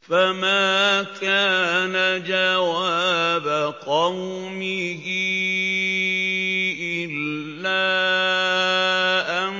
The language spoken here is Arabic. فَمَا كَانَ جَوَابَ قَوْمِهِ إِلَّا أَن